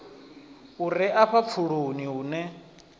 u re afha pfuloni hune